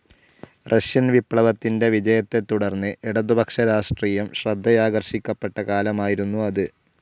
Russian വിപ്ലവത്തിന്റെ വിജയത്തെത്തുടർന്ന് ഇടതുപക്ഷ രാഷ്ട്രീയം ശ്രദ്ധയാകർഷിക്കപ്പെട്ട കാലമായിരുന്നു അത്.